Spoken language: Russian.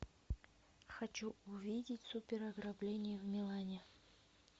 хочу увидеть супер ограбление в милане